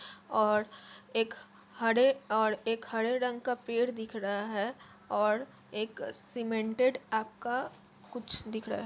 और एक हरे और एक हरे रंग का पेड़ दिख रहा है और एक सीमेंटेड आपका कुछ दिख रहा है।